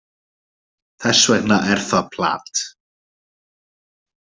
Þess vegna er það plat.